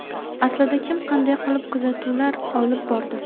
Aslida kim qanday qilib kuzatuvlar olib bordi?